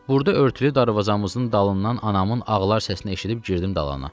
Burda örtülü darvazamızın dalından anamın ağlar səsini eşidib girdim dalana.